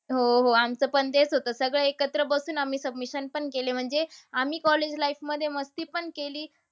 हो, हो. आमचं पण तेच होतं. सगळे एकत्र बसून आम्ही submission पण केले. म्हणजे आम्ही college life मध्ये मस्तीपण केली.